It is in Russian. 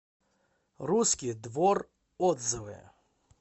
русский двор отзывы